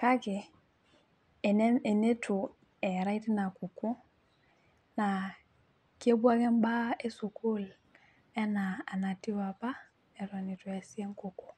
kake, eneitu eerae teina kukuo, naa kepuo ake mbaa esukuul enaa anatiu apa, eton eitu eesi enkukuo.